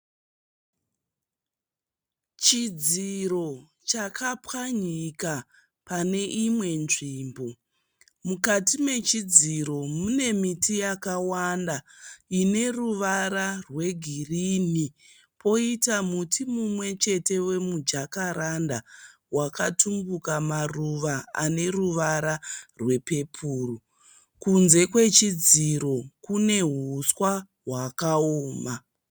Chidziro chakapwanyika pane imwe nzvimbo. Mukati mechidziro mune miti yakawanda ine ruvara rwegirini poita muti umwe chete wemujakaranda wakatumbuka maruva ane ruvara rwepeporo. Kunze kwechidziro kune huswa hwakaoma.